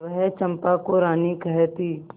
वह चंपा को रानी कहती